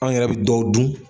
Anw yɛrɛ bi dɔw dun.